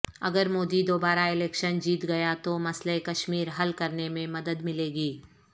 اگر مودی دوبارہ الیکشن جیت گیا تو مسئلہ کشمیر حل کرنے میں مدد ملے گی